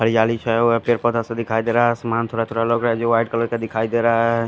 हरियाली छाया हुआ है पेड़ पोधा सा दिखाई दे रहा है आसमान थोडा थोडा लग रहा है जी वाइट कलर का दिखाई देरा है।